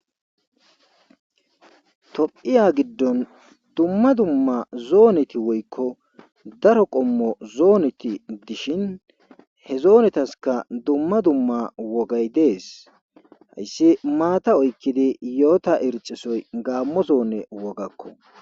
Tophiya giddon dumma dumma zooneti woykko daro qommo zooneti dishin he zoonetaska dumma dumma wogay dees hayssi maata oykkidi yoota ircisoy gaammo zoone wogakko.